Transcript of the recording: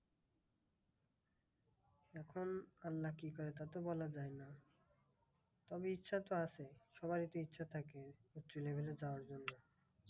এখন আল্লা কি করে তা তো বলা যায় না। তবে ইচ্ছা তো আছে সবারই তো ইচ্ছা থাকে সেই level এ যাওয়ার জন্য।